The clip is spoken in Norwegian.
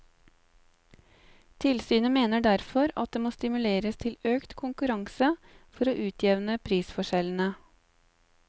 Tilsynet mener derfor at det må stimuleres til økt konkurranse for å utjevne prisforskjellene.